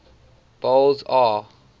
boles aw